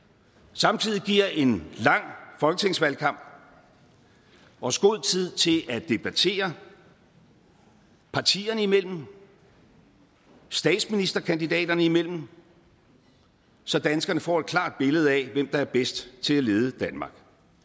samtidig giver en lang folketingsvalgkamp os god tid til at debattere partierne imellem statsministerkandidaterne imellem så danskerne får et klart billede af hvem der er bedst til at lede danmark